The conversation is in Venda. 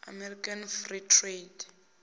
american free trade